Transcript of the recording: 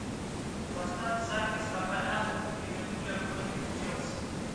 поставь запись апл ливерпуля против челси